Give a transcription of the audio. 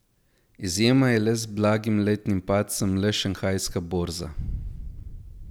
Izjema je z blagim letnim padcem le šanghajska borza.